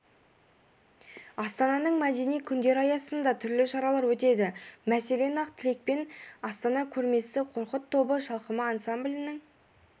астананың мәдени күндері аясында түрлі шаралар өтеді мәселен ақ тілекпен астана көрмесі қорқыт тобы шалқыма ансамблінің